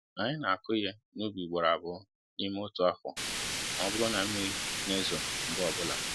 Anyị n'akụ ihe n'ubi ugboro abụọ n'ime otu afọ ma ọ bụrụ na mmiri n'ezo mgbe ọbụla